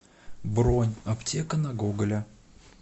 бронь аптека на гоголя